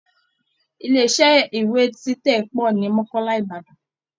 Ilé iṣẹ́ iwé títẹ̀ pọ̀ ní Mọ́kọ́là Ìbàdàn